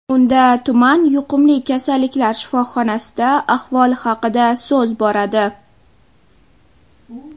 Unda tuman yuqumli kasalliklar shifoxonasida ahvol haqida so‘z boradi.